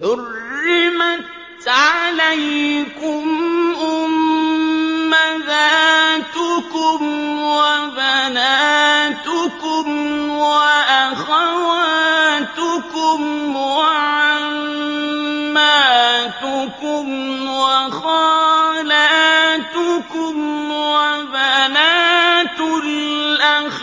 حُرِّمَتْ عَلَيْكُمْ أُمَّهَاتُكُمْ وَبَنَاتُكُمْ وَأَخَوَاتُكُمْ وَعَمَّاتُكُمْ وَخَالَاتُكُمْ وَبَنَاتُ الْأَخِ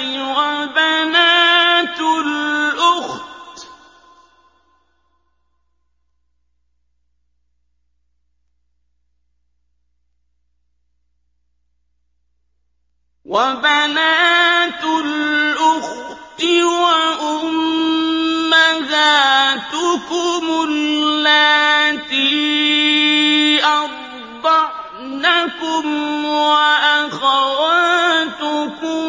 وَبَنَاتُ الْأُخْتِ وَأُمَّهَاتُكُمُ اللَّاتِي أَرْضَعْنَكُمْ وَأَخَوَاتُكُم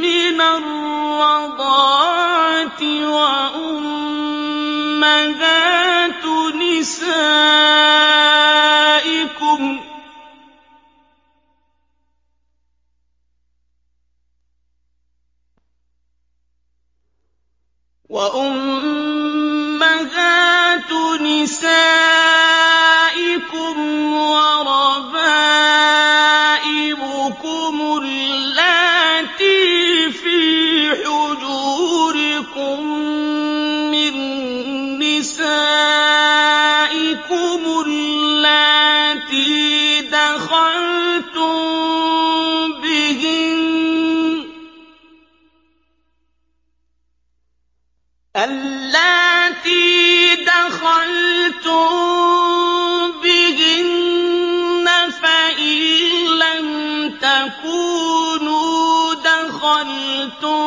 مِّنَ الرَّضَاعَةِ وَأُمَّهَاتُ نِسَائِكُمْ وَرَبَائِبُكُمُ اللَّاتِي فِي حُجُورِكُم مِّن نِّسَائِكُمُ اللَّاتِي دَخَلْتُم بِهِنَّ فَإِن لَّمْ تَكُونُوا دَخَلْتُم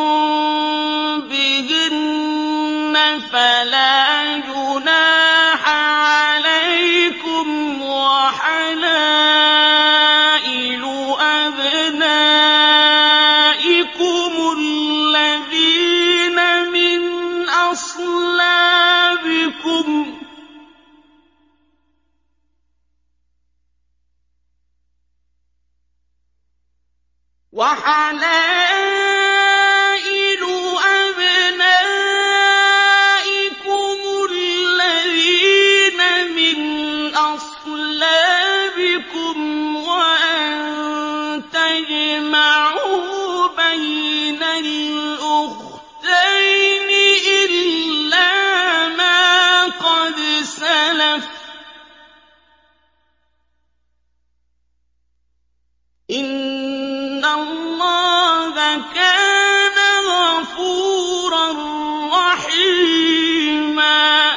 بِهِنَّ فَلَا جُنَاحَ عَلَيْكُمْ وَحَلَائِلُ أَبْنَائِكُمُ الَّذِينَ مِنْ أَصْلَابِكُمْ وَأَن تَجْمَعُوا بَيْنَ الْأُخْتَيْنِ إِلَّا مَا قَدْ سَلَفَ ۗ إِنَّ اللَّهَ كَانَ غَفُورًا رَّحِيمًا